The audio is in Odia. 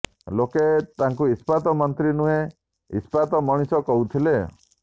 ଲୋକେ ତାଙ୍କୁ ଇସ୍ପାତ ମନ୍ତ୍ରୀ ନୁହେଁ ଇସ୍ପାତ ମଣିଷ କହୁଥିଲେ